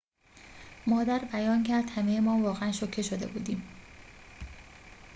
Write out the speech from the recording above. مادر بیان کرد همه‌مان واقعاً شوکه شده بودیم